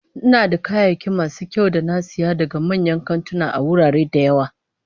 Ina da kayayyaki masu kyau da na saya daga manyan kantuna a wurare da yawa